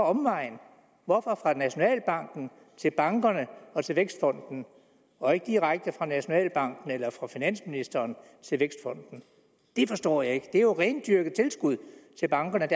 omvej hvorfor fra nationalbanken til bankerne og til vækstfonden og ikke direkte fra nationalbanken eller fra finansministeren til vækstfonden det forstår jeg ikke det er jo et rendyrket tilskud til bankerne